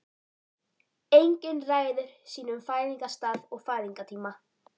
Enginn ræður sínum fæðingarstað og fæðingartíma.